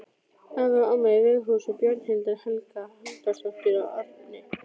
Afi og amma í Veghúsum, Bjarnhildur Helga Halldórsdóttir og Árni